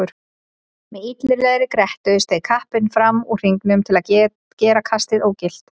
Með illilegri grettu steig kappinn fram úr hringnum til að gera kastið ógilt.